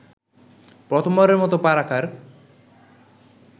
প্রথমবারের মতো পা রাখার